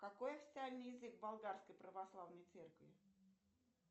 какой официальный язык болгарской православной церкви